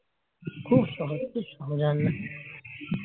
খুব সহজ খুব সহজ রান্না